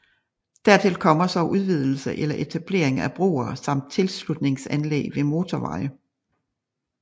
Dertil kommer så udvidelse eller etablering af broer samt tilslutningsanlæg ved motorveje